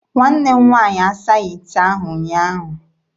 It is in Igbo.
Nwanne m nwaanyị asaghị ite ahụ ụnyaahụ.